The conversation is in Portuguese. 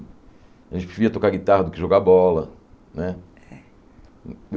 A gente preferia tocar guitarra do que jogar bola, né? É